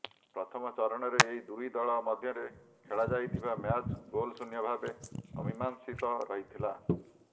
ପ୍ରଥମ ଚରଣରେ ଏହି ଦୁଇ ଦଳ ମଧ୍ୟରେ ଖେଳାଯାଇଥିବା ମ୍ୟାଚ୍ ଗୋଲ୍ ଶୂନ୍ୟ ଭାବେ ଅମୀମାଂସିତ ରହିଥିଲା